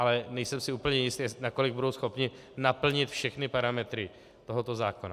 Ale nejsem si úplně jist, nakolik budou schopni naplnit všechny parametry tohoto zákona.